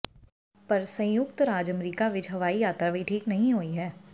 ਪਰ ਸੰਯੁਕਤ ਰਾਜ ਅਮਰੀਕਾ ਵਿੱਚ ਹਵਾਈ ਯਾਤਰਾ ਵੀ ਠੀਕ ਨਹੀਂ ਹੋਈ ਹੈ